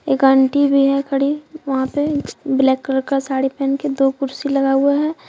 एक आंटी भी है खड़ी वहां पे ब्लैक कलर का साड़ी पहन के दो कुर्सी लगा हुआ है।